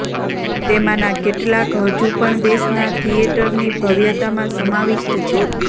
તેમાંના કેટલાક હજુ પણ દેશના થિયેટરની ભવ્યતામાં સમાવિષ્ટ છે